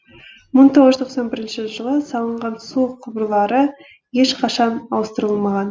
мың тоғыз жүз тоқсан бірінші жылы салынған су құбырлары ешқашан ауыстырылмаған